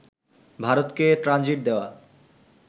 ভারতকে ট্রানজিট দেয়া